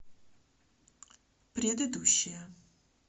предыдущая